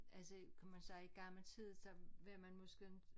Altså kan man sige i gammel tid så var man måske